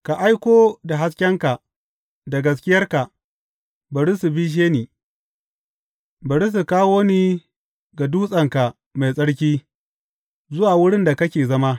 Ka aiko da haskenka da gaskiyarka, bari su bishe ni bari su kawo ni ga dutsenka mai tsarki, zuwa wurin da kake zama.